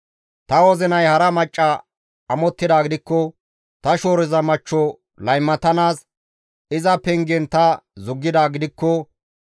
«Ta wozinay hara macca amottidaa gidikko, ta shooroza machcho laymatanaas iza pengen ta zuggidaa gidikko,